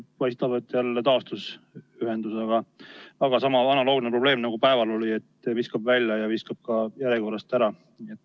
Paistab, et hetkel jälle taastus ühendus, aga oli sama, analoogne probleem ka päeval, et viskab välja ja viskab ka järjekorrast ära.